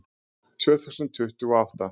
Tvö þúsund tuttugu og átta